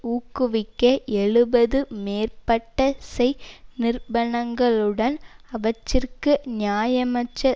ஊக்குவிக்க எழுபது மேற்பட்ட சேய் நிறுவனங்களுடன் அவற்றிற்கு நியாயமற்ற